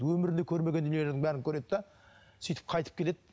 өмірінде көрмеген дүниелердің бәрін көреді де сөйтіп қайтып келеді